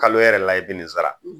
Kalo yɛrɛ la i bi nin sara